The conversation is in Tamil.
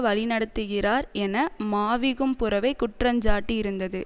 வழிநடத்துகிறார் என மாவிகும்புரவை குற்றஞ்சாட்டியிருந்தது